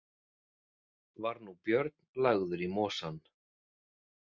Var nú Björn lagður í mosann.